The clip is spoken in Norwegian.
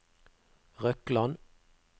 Røkland